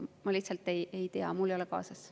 Ma lihtsalt ei tea seda, mul ei ole seda kaasas.